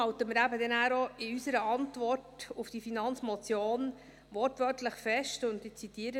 Deshalb halten wir in unserer Antwort auf die Finanzmotion eben auch wortwörtlich fest, ich zitiere: